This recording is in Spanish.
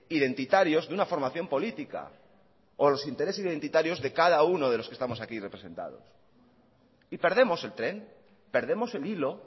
identitarios de una formación política o los intereses identitarios de cada uno de los que estamos aquí representados y perdemos el tren perdemos el hilo